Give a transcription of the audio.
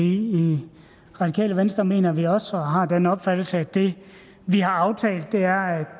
i radikale venstre mener vi også og har vi den opfattelse at det vi har aftalt er at